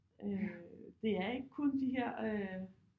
Øh det er ikke kun de her øh